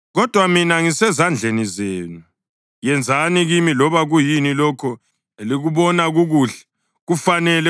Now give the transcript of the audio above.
Kodwa mina, ngisezandleni zenu; yenzani kimi loba kuyini lokho elikubona kukuhle, kufanele.